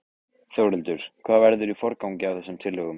Þórhildur: Hvað verður í forgangi af þessum tillögum?